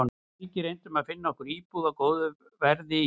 Við Helgi reyndum að finna okkur íbúð á góðu verði í